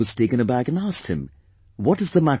I was taken aback and asked him "What is the matter